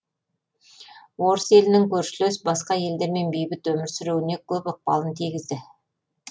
орыс елінің көршілес басқа елдермен бейбіт өмір сүруіне көп ықпалын тигізді